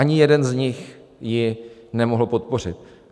Ani jeden z nich ji nemohl podpořit.